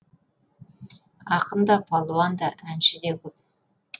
ақын да палуан да әнші де көп